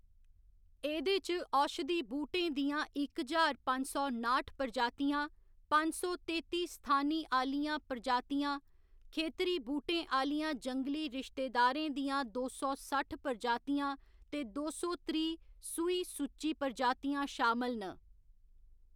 एह्‌‌‌दे च औषधि बूह्‌‌टें दियां इक ज्हार पंज सौ नाठ प्रजातियां, पंज सौ तेत्ती स्थानी आह्‌‌‌लियां प्रजातियां, खेतरी बूह्‌‌टें आह्‌‌‌लियां जंगली रिश्तेदारें दियां दो सौ सट्ठ प्रजातियां ते दो सौ त्रीह्‌ सूही सूची प्रजातियां शामल न।